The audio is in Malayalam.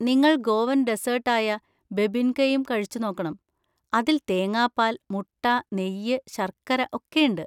നിങ്ങൾ ഗോവൻ ഡെസ്സേർട്ട് ആയ ബെബിൻകയും കഴിച്ചുനോക്കണം. അതിൽ തേങ്ങാപ്പാൽ, മുട്ട, നെയ്യ്, ശർക്കര ഒക്കെയുണ്ട്.